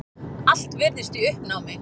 Allt virðist í uppnámi.